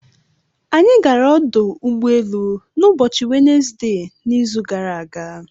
Anyị gara ọdụ ụgbọelu n'ụbọchị Wenezde n'izu gara aga.